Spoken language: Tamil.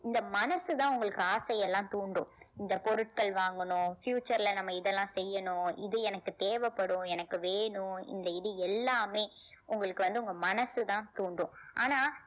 இந்த மனசுதான் உங்களுக்கு ஆசையெல்லாம் தூண்டும் இந்த பொருட்கள் வாங்கணும் future ல நம்ம இதெல்லாம் செய்யணும் இது எனக்கு தேவைப்படும் எனக்கு வேணும் இந்த இது எல்லாமே உங்களுக்கு வந்து உங்க மனசுதான் தூண்டும் ஆனா